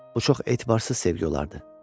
Bu çox etibarsız sevgi olardı.